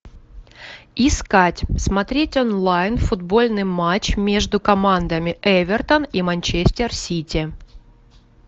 искать смотреть онлайн футбольный матч между командами эвертон и манчестер сити